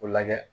O lajɛ